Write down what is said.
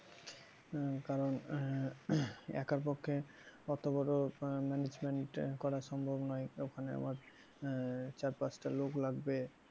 হম কারন আহ একা পক্ষে অত বড় management করা সম্ভব নয় ওখানে আবার আহ চার পাঁচটা লোক লাগবে